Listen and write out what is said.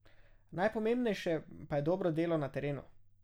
Najpomembnejše pa je dobro delo na terenu.